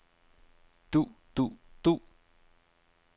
du du du